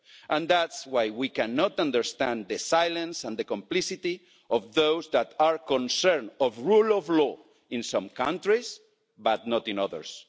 And it is why we cannot understand the silence and the complicity of those who are concerned about the rule of law in some countries but not in others.